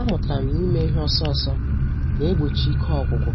A mụtara m n'ime ihe ọsọ ọsọ na-egbochi ike ọgwụgwụ,